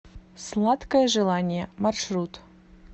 сладкое желание маршрут